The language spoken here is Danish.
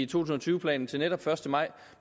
tusind og tyve planen til netop første maj